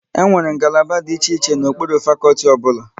Enwere ngalaba dị iche iche n'okpuru fakọlti ọbụla